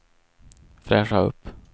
fräscha upp